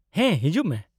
-ᱦᱮᱸ, ᱦᱤᱡᱩᱜᱼᱢᱮ ᱾